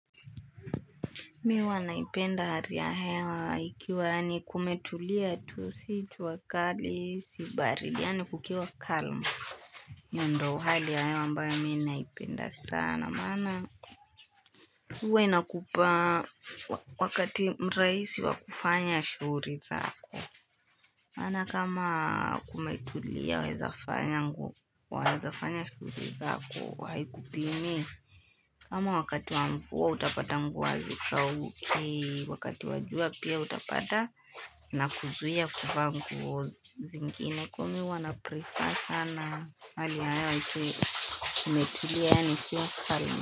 Mi huwa naipenda hali hewa ikiwa yaani kumetulia tu si jua kali si baridi yaani kukiwa calm. Hiyo ndo hali ya hewa ambayo mi naipenda sana maana. Huwa inakupa wakati mrahisi wakufanya shughuli zako. Maana kama kumetulia waweza fanya shughuli zako haikupimii. Kama wakati wa mvua utapata nguo hazikauki, wakati wa jua pia utapata inakuzuia kuvaa nguo zingine kuwa mi huwa naprefer sana. Hali ya hewa ikiwa imetulia yaani ikiwa calm.